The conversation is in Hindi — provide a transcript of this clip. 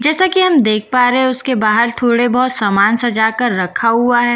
जैसे कि हम देख पा रहे हैं उसके बाहर थोड़े बहुत सामान सजा कर रखा हुआ है जैसे कि --